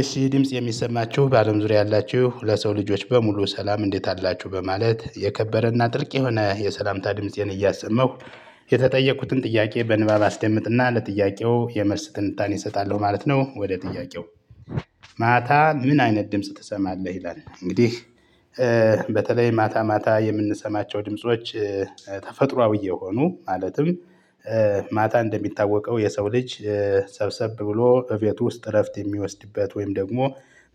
እሺ ድምጽ የሚሰማችሁ በአለም ዙሪያ ያላችሁ ለሰው ልጆች በሙሉ ሰላም እንዴት አላችሁ በማለት የከበረና ጥልቅ የሆነ የሰላምታ ድምፄን እያሰመሁ የተጠየቅኩትን ጥያቄ በንባብ አስደምጥና ለጥያቄው የመልስ ትንታኔ እሰጣለሁ ማለት ነው። ወደ ጥያቄው? ማታ ምን አይነት ድምጽ ትሰማለህ ይላል። እንግዲህ በተለይ ማታ ማታ የምንሰማቸው ድምጾች። ተፈጥሮአዊ የሆኑ ማለትም ማታ እንደሚታወቀው የሰው ልጅ ሰብሰብ ብሎ እቤት ውስጥ እረፍት የሚወስድበት ወይም ደግሞ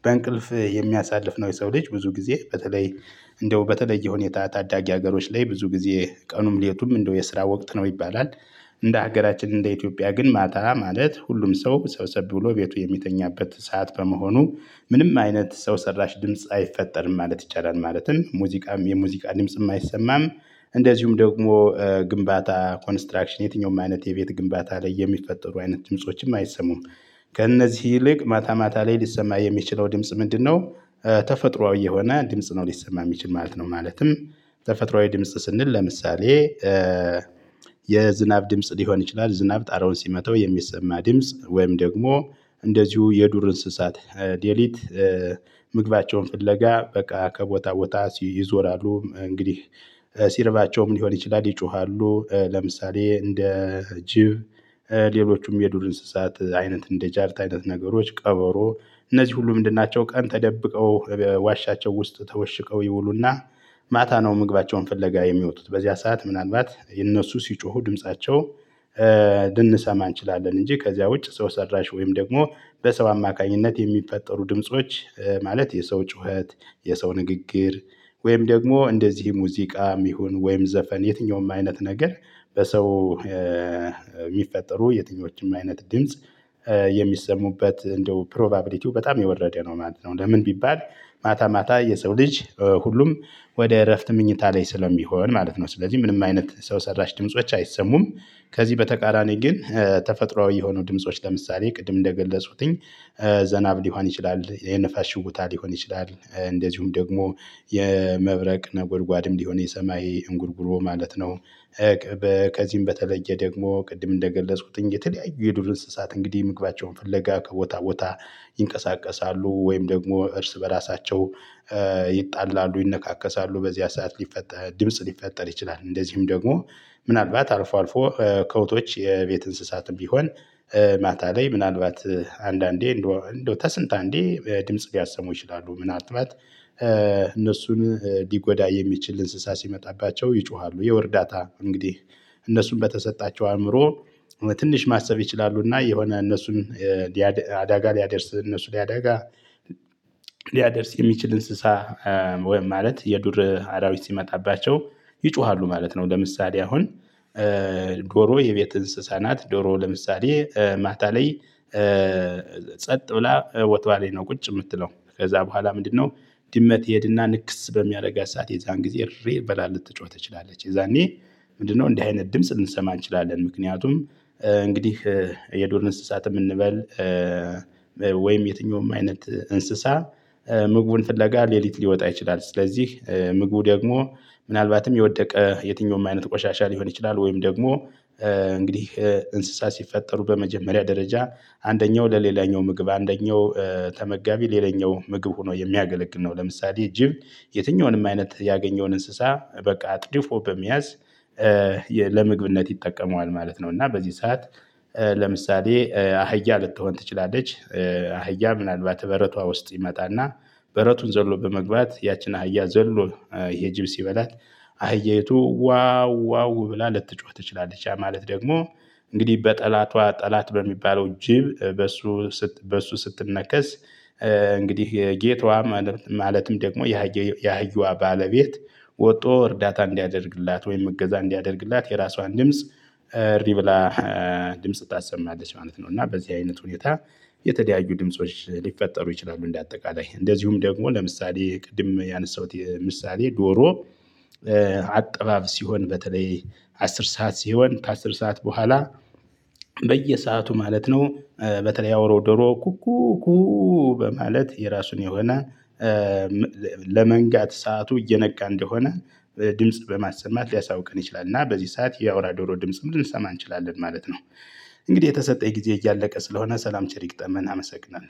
በእንቅልፍ የሚያሳልፍ ነው። የሰው ልጅ ብዙ ጊዜ በተለይ እንደው በተለየ ሁኔታ ታዳጊ ሀገሮች ላይ ብዙ ጊዜ ቀኑም ሌሊቱም እንደው የስራ ወቅት ነው ይባላል። እንደ ሀገራችን እንደ ኢትዮጵያ ግን ማታ ማለት ሁሉም ሰው ሰብሰብ ብሎ ቤቱ የሚተኛበት ሰዓት በመሆኑ ምንም አይነት ሰው ሰራሽ ድምጽ አይፈጠርም ማለት ይቻላል ማለትም ሙዚቃም የሙዚቃ ድምጽም አይሰማም። እንደዚሁም ደግሞ ግንባታ ኮንስትራክሽን የትኛውም አይነት የቤት ግንባታ ላይ የሚፈጠሩ አይነት ድምፆችም አይሰሙም። ከእነዚህ ይልቅ ማታ ማታ ላይ ሊሰማ የሚችለው ድምጽ ምንድነው? ተፈጥሮአዊ የሆነ ድምጽ ነው ሊሰማ የሚችል ማለት ነው። ማለትም ተፈጥሮአዊ ድምጽ ስንል ለምሳሌ የዝናብ ድምጽ ሊሆን ይችላል። ዝናብ ጣራውን ሲመተው የሚሰማ ድምጽ ወይም ደግሞ እንደዚሁ የዱር እንስሳት ዴሊት ምግባቸውን ፍለጋ በቃ ከቦታ ቦታ ይዞራሉ እንግዲህ ሲርባቸውም ሊሆን ይችላል ይጮሃሉ። ለምሳሌ እንደ ጅብ ሌሎቹም የዱር እንስሳት አይነት እንደ ጃርት አይነት ነገሮች ቀበሮ እነዚህ ሁሉ ምንድን ናቸው? ቀን ተደብቀው ዋሻቸው ውስጥ ተወሽቀው ይውሉና ማታ ነው ምግባቸውን ፍለጋ የሚወጡት። በዚያ ሰዓት ምናልባት እነሱ ሲጮሁ ድምፃቸው ልንሰማ እንችላለን። እንጂ ከዚያ ውጭ ሰው ሰራሽ ወይም ደግሞ በሰው አማካኝነት የሚፈጠሩ ድምጾች ማለት የሰው ጩኸት የሰው ንግግር ወይም ደግሞ እንደዚህ ሙዚቃም ይሁን ወይም ዘፈን የትኛውም አይነት ነገር። በሰው የሚፈጠሩ የትኞቹም አይነት ድምጽ የሚሰሙበት እንደው ፕሮባቢሊቲው በጣም የወረደ ነው ማለት ነው። ለምን ቢባል ማታ ማታ የሰው ልጅ ሁሉም ወደ እረፍት መኝታ ላይ ስለሚሆን ማለት ነው። ስለዚህ ምንም አይነት ሰው ሰራሽ ድምጾች አይሰሙም። ከዚህ በተቃራኒ ግን ተፈጥሮአዊ የሆኑ ድምጾች ለምሳሌ ቅድም እንደገፅኩትኝ ዘናብ ሊሆን ይችላል የነፋስ ሽውታ ሊሆን ይችላል እንደዚሁም ደግሞ የመብረቅ ነጎድጓድም ሊሆን የሰማይ እንጉልጉሎ ማለት ነው። ከዚህም በተለየ ደግሞ ቅድም እንደገለጽኩት የተለያዩ የዱር እንስሳት እንግዲህ ምግባቸውን ፍለጋ ከቦታ ቦታ ይንቀሳቀሳሉ ወይም ደግሞ እርስ በራሳቸው ይጣላሉ ይነካከሳሉ በዚያ ሰዓት ሊፈጠር ድምጽ ሊፈጠር ይችላል። እንደዚሁም ደግሞ ምናልባት አልፎ አልፎ ከብቶች የቤት እንስሳትም ቢሆን ማታ ላይ ምናልባት አንዳንዴ እንደው ከስንት እንዴ ድምጽ ሊያሰሙ ይችላሉ። ምናልባት እነሱን ሊጎዳ የሚችል እንስሳ ሲመጣባቸው ይጮሃሉ የወርዳታ እንግዲህ እነሱን በተሰጣቸው አእምሮ ትንሽ ማሰብ ይችላሉና የሆነ እነሱን አዳጋ ሊያደርስ እነሱ ሊያደጋ ሊያደርስ የሚችል እንስሳ ወይም ማለት የዱር አራዊት ሲመጣባቸው ይጮሃሉ ማለት ነው። ለምሳሌ አሁን ዶሮ የቤት እንስሳ ናት። ዶሮ ለምሳሌ ማታ ላይ ጸጥ ብላ ቦታዋ ነው ቁጭ የምትለው ከዛ በኋላ ምንድነው? ድመት ይሄድና ንክስ በሚያደርገው ሰዓት የዛን ጊዜ እሪ ብላ ልትጮህ ትችላለች። የዛኔ ምንድነው እንዲህ አይነት ድምጽ ልንሰማ እንችላለን? ምክንያቱም እንግዲህ የዱር እንስሳትም እንበል ወይም የትኛውም አይነት እንስሳ ምግቡን ፍለጋ ሌሊት ሊወጣ ይችላል። ስለዚህ ምግቡ ደግሞ ምናልባትም የወደቀ የትኛውም አይነት ቆሻሻ ሊሆን ይችላል ወይም ደግሞ እንግዲህ እንስሳ ሲፈጠሩ በመጀመሪያ ደረጃ አንደኛው ለሌላኛው ምግብ አንደኛው ተመጋቢ ሌላኛው ምግብ ሆኖ የሚያገለግል ነው። ለምሳሌ ጂብ የትኛውንም አይነት ያገኘውን እንስሳ በቃ አጥድፎ በመያዝ ለመግብነት ይጠቀመዋል ማለት ነው። እና በዚህ ሰዓት ለምሳሌ አህያ ልትሆን ትችላለች። አህያ ምናልባት በረቷ ውስጥ ይመጣና በረቱን ዘሎ በመግባት ያቺን አህያ ዘሎ ይሄ ጅብ ሲበላት አህያይቱ ዋው ዋው ብላ ልትጮህ ትችላለች። ማለት ደግሞ እንግዲህ በጠላቷ ጠላት በሚባለው ጅብ በሱ በሱ ስትነከስ እንግዲህ የጌቷ ማለትም ደግሞ የሃያ የሀያዋ ባለቤት ወጥቶ እርዳታ እንዲያደርግላት ወይም እገዛ እንዲያደርግላት የራሷን ድምጽ ሪብላ ድምጽ ታሰማለች ማለት ነው። እና በዚህ አይነት ሁኔታ የተለያዩ ድምጾች ሊፈጠሩ ይችላሉ። እንደ አጠቃላይ እንደዚሁም ደግሞ ለምሳሌ ቅድም ያነሳሁት ምሳሌ ዶሮ አጠባብ ሲሆን በተለይ አስር ሰዓት ሲሆን ከአስር ሰዓት በኋላ በየሰአቱ ማለት ነው። በተለይ አውሮ ዶሮ ኩኩኩ በማለት የራሱን የሆነ ለመንጋት ሰዓቱ እየነቃ እንደሆነ ድምጽ በማሰማት ሊያሳውቅን ይችላል። እና በዚህ ሰዓት የአውራ ዶሮ ድምጽም ልንሰማ እንችላለን ማለት ነው። እንግዲህ የተሰጠኝ ጊዜ እያለቀ ስለሆነ ሰላም ቸር ይግጠመን አመሰግናለሁ